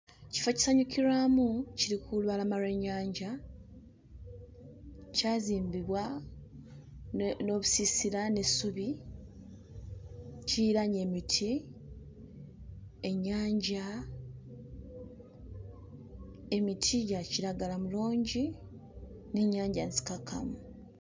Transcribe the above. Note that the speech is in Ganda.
Kifo kisanyukirwamu kiri ku lubalama lw'ennyanja kyazimbibwa ne n'obusiisira n'essubi, kiriraanye emiti, ennyanja, emiti gya kiragala mirungi n'ennyanja nzikakkamu.